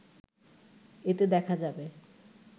এতে দেখা যাবে